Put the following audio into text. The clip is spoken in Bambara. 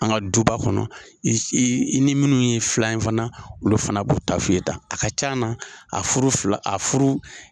An ka duba kɔnɔ i ni minnu ye filan ye fana olu fana b'u ta fɔ i ye tan a ka can na a furu fila a furu